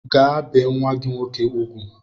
Gaa bee nwa gị nwoke ugwu!